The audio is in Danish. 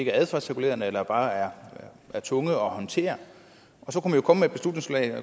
er adfærdsregulerende og bare er tunge at håndtere så